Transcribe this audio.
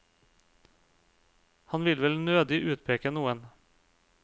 Han vil vel nødig utpeke noen.